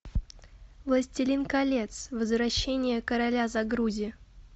властелин колец возвращение короля загрузи